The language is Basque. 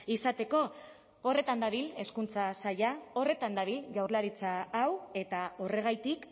izateko horretan dabil hezkuntza saila horretan dabil jaurlaritza hau eta horregatik